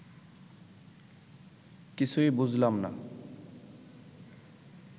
কিছুই বুঝলাম না